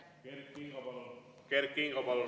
Kert Kingo, palun!